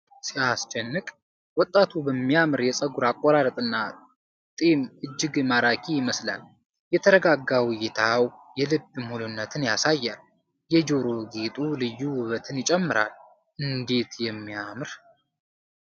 ሲያስደንቅ! ወጣቱ በሚያምር የፀጉር አቆራረጥና ጢም እጅግ ማራኪ ይመስላል። የተረጋጋው እይታው የልበ ሙሉነትን ያሳያል። የጆሮ ጌጡ ልዩ ውበትን ይጨምራል። እንዴት የሚያምር!